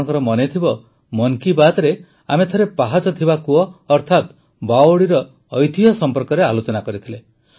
ଆପଣଙ୍କର ମନେ ଥିବ ମନ୍ କୀ ବାତରେ ଆମେ ଥରେ ପାହାଚ ଥିବା କୂଅ ଅର୍ଥାତ ବାୱଡିର ଐତିହ୍ୟ ସମ୍ପର୍କରେ ଆଲୋଚନା କରିଥିଲେ